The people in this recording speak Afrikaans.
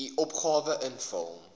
u opgawe invul